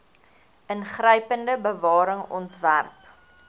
ingrypende bewaring ontwerp